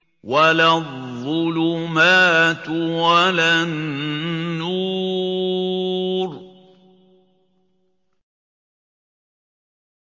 وَلَا الظُّلُمَاتُ وَلَا النُّورُ